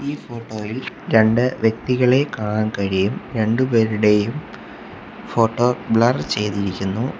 ഈ ഫോട്ടോയിൽ രണ്ട് വ്യക്തികളെ കാണാൻ കഴിയും രണ്ടുപേരുടെയും ഫോട്ടോ ബ്ലർ ചെയ്തിരിക്കുന്നു.